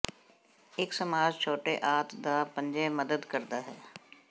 ਇੱਕ ਮਸਾਜ ਛੋਟੇ ਆੰਤ ਦਾ ਪੰਜੇ ਮਦਦ ਕਰਦਾ ਹੈ